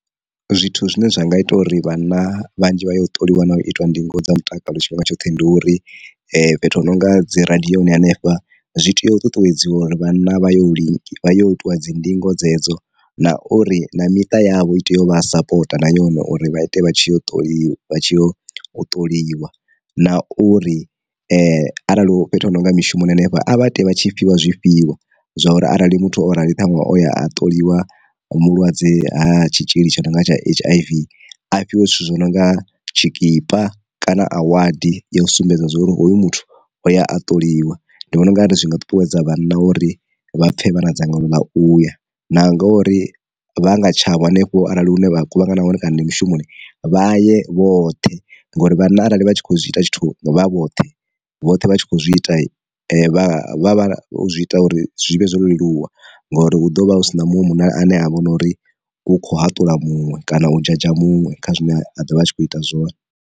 Zwithu zwine zwa nga ita uri vhanna vhanzhi vha ye u ṱoliwa na u itiwa ndingo dza mutakalo tshifhinga tshoṱhe ndi uri, fhethu hu nonga dzi radioni hanefha zwi tea u ṱuṱuwedziwa uri vhanna vha yo link vha yo itiwa dzi ndingo dzedzo na uri, na miṱa yavho i tea u vha sapota na yone uri vha ite vha tshi u ṱoliwa vha tshi o ṱoliwa. Na uri arali u fhethu hu nonga mishumoni hanefha a vha ite vha tshi fhiwa zwifhiwa zwa uri arali muthu o rali ṱhanwe o ya a ṱoliwa mulwadze ha tshitzhili tsha nonga tsha H_I_V, a fhiwe zwithu zwi nonga tshikipa kana a wadi ya u sumbedza uri hoyu muthu o ya a ṱoliwa. Ndi vhona ungari zwi nga ṱuṱuwedza vhana uri vha pfhe vha na dzangalelo ḽa uya, na ngori vha nga tshavho hanefho arali hu ne vha kuvhangana hone kana ndi mushumoni vha ye vhoṱhe ngori vhana arali vha tshi kho zwi ita tshithu vha vhoṱhe vhoṱhe vha tshi kho zwi ita vha zwi ita uri zwi vhe zwo leluwa, ngori u ḓo vha hu si na munwe munna ane a vho nori u kho hatula muṅwe kana u dzhadzha muṅwe kha zwine a dovha a tshi kho ita zwone.